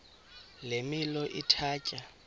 le milo ithatya